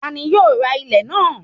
Ta ni yóò ra ilẹ̀ náà?